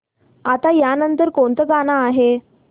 आता या नंतर कोणतं गाणं आहे